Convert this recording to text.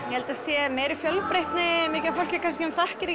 ég held að það sé meiri fjölbreytni mikið af fólki sem þekkir